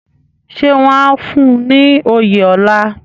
Ṣé wọ́n á fún un ní oyè ọlá?